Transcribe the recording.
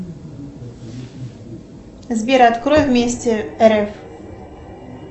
сбер открой вместе рф